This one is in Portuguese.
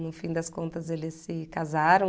No fim das contas, eles se casaram.